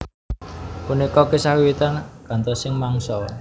Punika kisah wiwitan gantosing mangsa